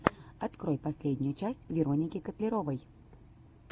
открой последнюю часть вероники котляровой